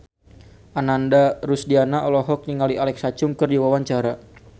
Ananda Rusdiana olohok ningali Alexa Chung keur diwawancara